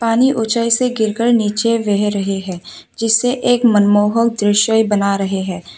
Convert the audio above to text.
पानी ऊंचाई से गिरकर नीचे बह रहे हैं जिससे एक मनमोहक दृश्य बना रहे हैं।